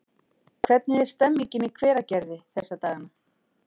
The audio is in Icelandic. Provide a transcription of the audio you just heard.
Hvernig er stemmningin í Hveragerði þessa dagana?